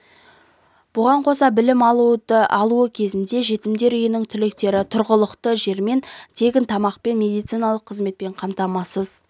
бұған қоса білім алуы кезінде жетімдер үйінің түлектерін тұрғылықты жермен тегін тамақ пен медициналық қызметпен қамтамасыз